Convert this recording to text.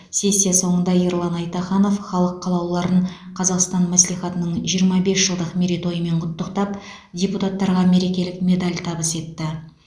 сессия соңында ерлан айтаханов халық қалаулыларын қазақстан мәслихатының жиырма бес жылдық мерейтойымен құттықтап депутаттарға мерекелік медаль табыс етті